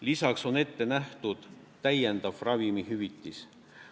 Lisaks on ette nähtud täiendav ravimihüvitis.